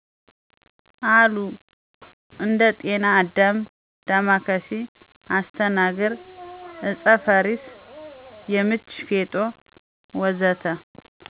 አሉ እንደ ጤና አዳም፣ ዳማከሴ፣ አስተናግር ( አጤ ፋሪስ )፣ የምች፣ ፌጦ፣ ወ.ዘ.ተ...